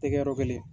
Tɛ kɛ yɔrɔ gɛlɛn ye